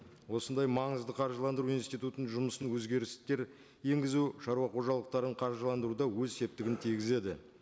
осындай маңызды қаржыландыру институтының жұмысын өзгерістер енгізу шаруа қожалықтарын қаржыландыруда өз септігін тигізеді